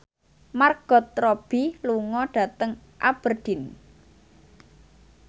Margot Robbie lunga dhateng Aberdeen